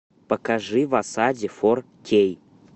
покажи в осаде фор кей